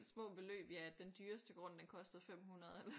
Små beløb ja den dyreste grund den kostede 500 eller